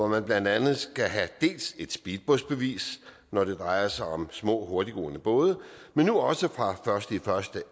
man blandt andet skal have et speedbådbevis når det drejer sig om små hurtiggående både men nu også fra den første